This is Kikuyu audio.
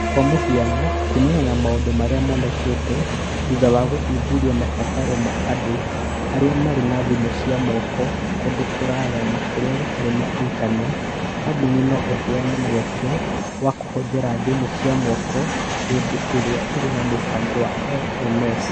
Kwa mũhiano , kuumana na maũndũ marĩa monekete thutha wa gũthuthuria mabataro ma andũ arĩa marĩ na thimũ cia moko kũndũ kũraya na kũrĩa gũtarĩ na intaneti, kambuni no ĩheane mweke wa kũhũthĩra thimũ cia moko hĩndĩ ĩrĩa ĩrĩ na mũbango wa LMS